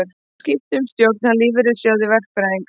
Skipt um stjórn hjá Lífeyrissjóði verkfræðinga